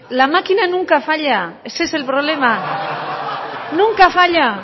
la máquina nunca falla ese es el problema nunca falla